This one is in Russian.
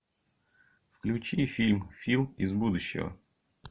включи фильм фил из будущего